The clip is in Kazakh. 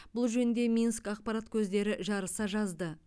бұл жөнінде минск ақпарат көздері жарыса жазды